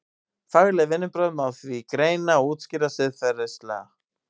Fagleg vinnubrögð má því greina og útskýra siðfræðilega.